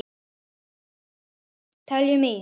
Teljum í!